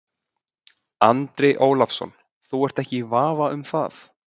Andri Ólafsson: Þú ert ekki í vafa um það?